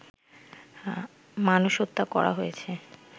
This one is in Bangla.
মানুষ হত্যা করা হয়েছে